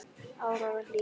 Áróra Hlín.